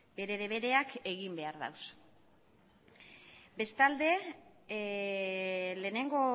bere debereak egin behar ditu bestalde lehenengo